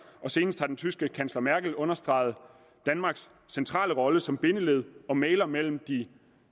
og senest har den tyske kansler angela merkel understreget danmarks centrale rolle som bindeled og mægler mellem de